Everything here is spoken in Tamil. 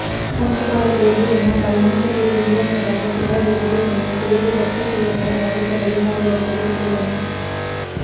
கணக்குப் பாடத் தேர்வு வினாத்தாள் முன்கூட்டியே வெளியானதாக புகார் உறுதியானால் தேர்வு ரத்துசெய்யப்பட வாய்ப்பு அதிகாரிகள் தெரிவித்துள்ளனர்